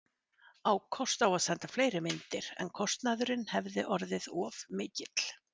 Á kost á að senda fleiri myndir, en kostnaðurinn hefði orðið of mikill.